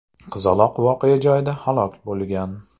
Qizaloq voqea joyida halok bo‘lgan.